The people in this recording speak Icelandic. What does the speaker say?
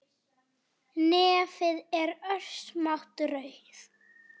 Nefið er örsmá rauð